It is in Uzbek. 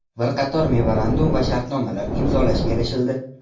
Bir qator memorandum va shartnomalar imzolashga erishildi.